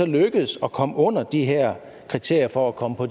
lykkes at komme under de her kriterier for at komme på